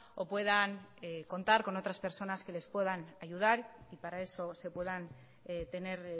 o puedan contar con otras personas que les puedan ayudar y para eso se puedan tener